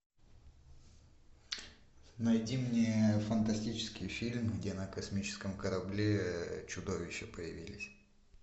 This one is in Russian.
найди мне фантастический фильм где на космическом корабле чудовища появились